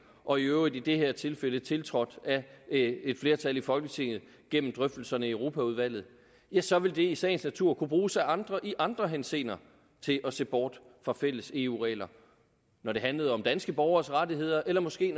og i øvrigt i det her tilfælde tiltrådt af et flertal i folketinget gennem drøftelserne i europaudvalget så vil det i sagens natur kunne bruges af andre i andre henseender til at se bort fra fælles eu regler når det handler om danske borgeres rettigheder eller måske